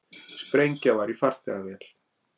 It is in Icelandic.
Sprengja var í farþegavél